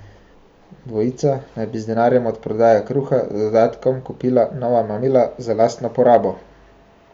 Dvojica naj bi z denarjem od prodaje kruha z dodatkom kupila nova mamila za lastno porabo.